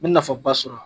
N bɛ nafa ba sɔrɔ a la